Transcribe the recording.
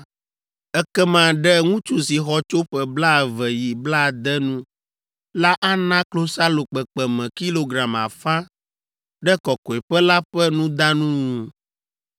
ekema ɖe ŋutsu si xɔ tso ƒe blaeve yi blaade nu la ana klosalo kpekpeme kilogram afã ɖe Kɔkɔeƒe la ƒe nudanu nu.